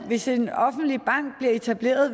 hvis en offentlig bank blev etableret